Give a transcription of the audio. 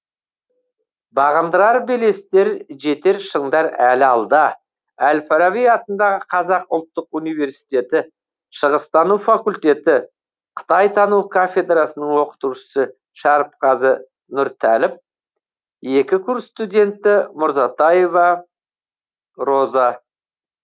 бағындырар белестер жетер шындар әлі алда әл фараби атындағы қазақ ұлттық университеті шығыстану факультеті қытайтану кафедрасының оқытушысы шәріпқазы нұртәліп екі курс студенті мурзатаева роза